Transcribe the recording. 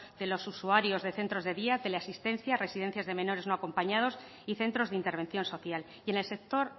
de los usuarios de centros de día tele asistencia residencias de menores no acompañados y centros de intervención social y en el sector